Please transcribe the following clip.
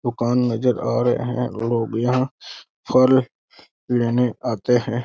दुकान नज़र आ रहे हैं। लोग यहाँ फल लेने आते हैं।